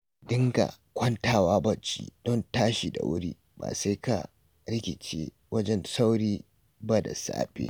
Ka dinga kwantawa bacci, don tashi da wuri ba sai ka rikice wajen sauri ba da safe